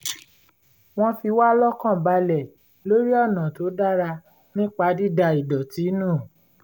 wọ́n fiwá lọ́kàn balẹ̀ lórí ọ̀nà tó dára ńpa dída idọ̀tí nù